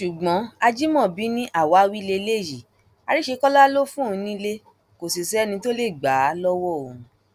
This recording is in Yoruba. ṣùgbọn ajimobi ni àwáwí lélẹyìí àríṣekọlá ló fóun nílé kò sì sẹni tó lè gbà á lọwọ òun